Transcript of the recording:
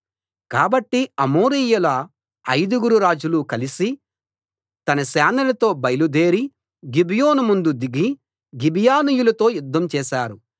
కాబట్టి అమోరీయుల ఐదుగురు రాజులూ కలిసి తమ సేనలతో బయలుదేరి గిబియోను ముందు దిగి గిబియోనీయులతో యుద్ధం చేశారు